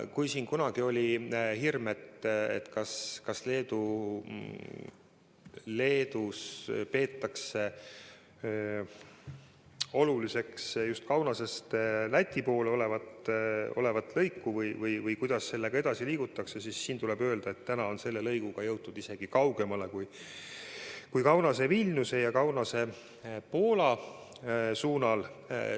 Kui kunagi oli hirm, kas Leedus ikka peetakse oluliseks Kaunasest Läti pool olevat lõiku või kuidas sellega edasi liigutakse, siis siin tuleb öelda, et täna on selle lõiguga jõutud isegi kaugemale kui Kaunase–Vilniuse ja Kaunase–Poola suunal.